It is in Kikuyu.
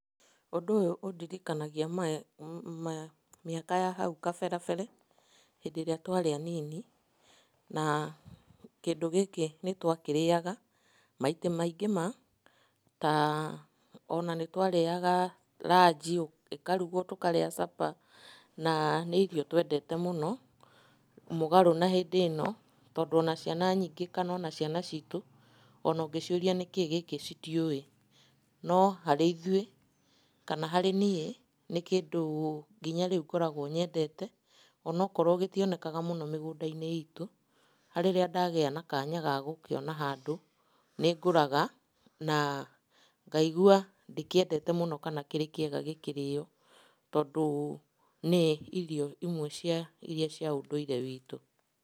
Ũndũ ũyũ ũndirikanagia mĩaka ya hau kaberabere, hĩndĩ ĩrĩa twarĩ anini, na kindũ gĩkĩ nĩtwakĩrĩaga maita maingĩ ma, ta ona nĩtwarĩaga ranji ĩkarugwo tũkarĩa supper na nĩ irio twendete mũno, mũgarũ na hĩndĩ ĩno tondũ ona ciana nyingĩ kana ona ciana citũ ona ũngĩciũria nĩkĩĩ gĩkĩ citiũĩ. No harĩ ithuĩ kana harĩ niĩ nĩ kĩndũ nginya rĩu ngoragwo nyendete onokorwo gĩtionekaga mũno mĩgũnda-inĩ itũ, rĩrĩa ndagĩa na kanya ga gũkĩona handũ nĩngũraga na ngaigua ndĩkĩendete mũno kana kĩrĩ kĩega gĩkĩrĩo, tondũ nĩ irio imwe iria cia ũndũire witũ.